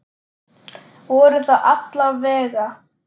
Voru það alla vega.